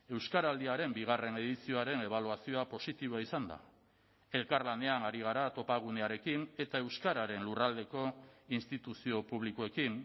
euskaraldiaren bigarren edizioaren ebaluazioa positiboa izan da elkarlanean ari gara topagunearekin eta euskararen lurraldeko instituzio publikoekin